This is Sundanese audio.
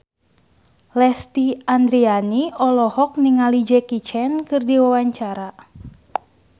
Lesti Andryani olohok ningali Jackie Chan keur diwawancara